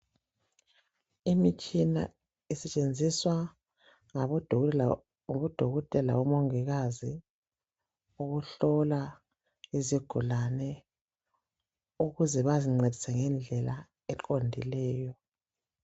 Imitshina esetshenziswa ngabodokotela labo mongikazi ukuhlola izigulane ukuze bazincedise ngendlela eqondileyo.